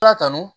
La kanu